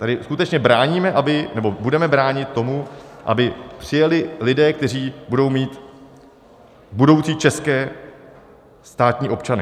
Tady skutečně bráníme, nebo budeme bránit tomu, aby přijeli lidé, kteří budou mít budoucí české státní občanství.